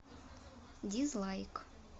дизлайк